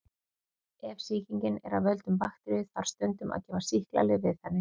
Ef sýkingin er af völdum bakteríu þarf stundum að gefa sýklalyf við henni.